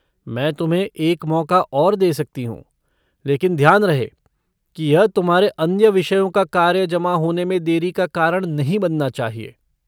मैं तुम्हें एक मौक़ा और दे सकती हूँ, लेकिन ध्यान रहे कि यह तुम्हारे अन्य विषयों का कार्य जमा होने में देरी का कारण नहीं बनना चाहिए।